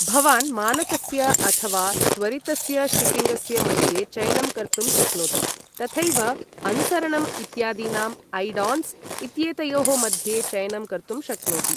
भवान् मानकस्य अथवा त्वरितस्य शिपिङ्गस्य मध्ये चयनं कर्तुं शक्नोति, तथैव अनुसरणम् इत्यादीनां ऐड ऑन्स् इत्येतयोः मध्ये चयनं कर्तुं शक्नोति ।